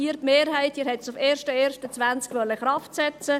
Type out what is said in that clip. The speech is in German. Sie, die Mehrheit, wollten diese auf den 11.01.2020 in Kraft setzen.